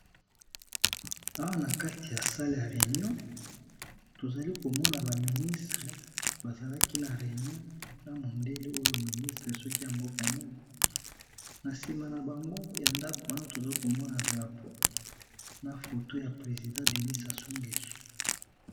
Awa nakati ya salle ya Reunion tozali komona ba ministre bazalaki na Reunion na mondele oyo soki aza ministre ya mboka nini nayebite nasima yandako wana tozali komona drapeau na photo ya president DENI sasungweso.